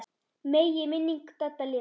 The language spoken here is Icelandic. Megi minning Dadda lifa.